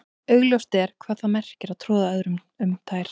augljóst er hvað það merkir að troða öðrum um tær